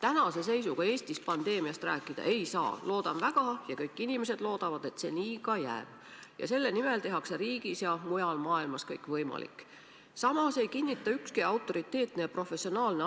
Me oleme ka edastanud informatsiooni, et kui omavalitsused vaatavad seadusest tulenevalt asjaomased plaanid läbi ja teavad, kes täpselt mida peab tegema, milleks peab valmis olema, siis on ka Päästeamet valmis konsulteerima ja aitama.